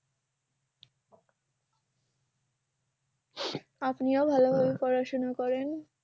আপনিও ভালো করে পড়াশোনা করেন